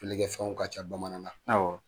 ilɛkɛ fɛnw ka ca bamanan na.